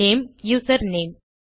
name username